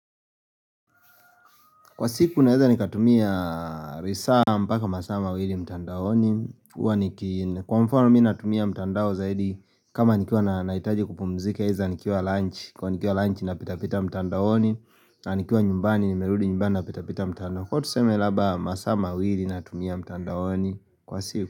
Kwa siku naweza nikatumia lisaa mpaka masamaa mawili mtandaoni Kwa mfano minatumia mtandao zaidi kama nikua nahitaji kupumzika hiza nikuwa lunch Kwa nikua lunch napitapita mtandaoni na nikua nyumbani nimerudi nyumbani napitapita mtandaoni Kwa tuseme labda masamaa mawili natumia mtandaoni Kwa siku.